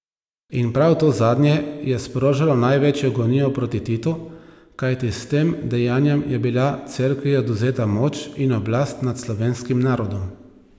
In prav to zadnje je sprožalo največjo gonjo proti Titu, kajti s tem dejanjem je bila Cerkvi odvzeta moč in oblast nad slovenskim narodom.